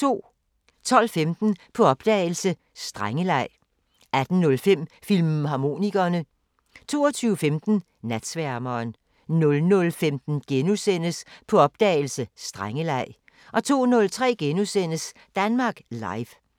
12:15: På opdagelse – Strengeleg 18:05: Filmharmonikerne 22:15: Natsværmeren 00:15: På opdagelse – Strengeleg * 02:03: Danmark Live *